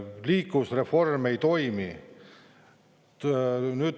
Liikuvusreform ei toimi.